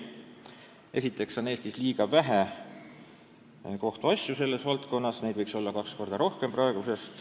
Esiteks on Eestis selles valdkonnas liiga vähe kohtuasju, neid võiks olla kaks korda rohkem kui praegu.